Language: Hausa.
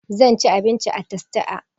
Zan ci abinci a tastia